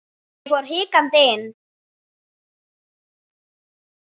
Ég fór hikandi inn.